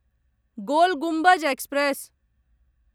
गोल Gumbaz express